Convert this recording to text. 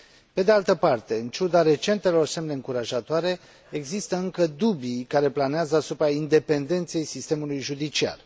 Pe de altă parte, în ciuda recentelor semne încurajatoare, există încă dubii care planează asupra independenței sistemului judiciar.